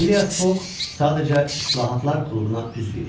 Fileas Foq sadəcə Islahatlar Klubuna üzv idi.